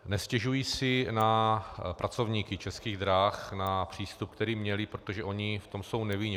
Nestěžuji si na pracovníky Českých drah, na přístup, který měli, protože oni v tom jsou nevinně.